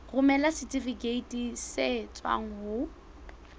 romela setifikeiti se tswang ho